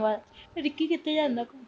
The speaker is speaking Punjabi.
ਬੱਸ ਤੇ ਰਿੱਕੀ ਕਿੱਥੇ ਜਾਂਦਾ ਘੁੰਮਣ।